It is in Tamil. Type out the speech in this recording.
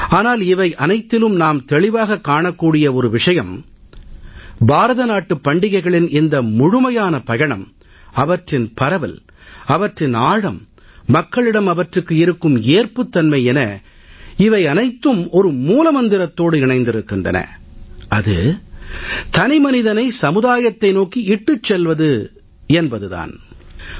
ஆனால் இவை அனைத்திலும் நாம் தெளிவாக காணக்கூடிய ஒரு விஷயம் பாரத நாட்டு பண்டிகைகளின் இந்த முழுமையான பயணம் அவற்றின் பரவல் அவற்றின் ஆழம் மக்களிடம் அவற்றுக்கு இருக்கும் ஏற்புத்தன்மை என இவை அனைத்தும் ஒரு மூல மந்திரத்தோடு இணைந்திருக்கின்றன தனிமனிதனை சமுதாயத்தை நோக்கி இட்டுச் செல்லுதல் என்பது தான் அது